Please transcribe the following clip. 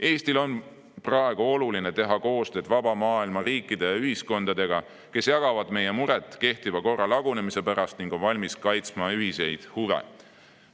Eestil on praegu oluline teha koostööd vaba maailma riikide ja ühiskondadega, kes jagavad meie muret kehtiva korra lagunemise pärast ning on valmis kaitsma ühiseid huve.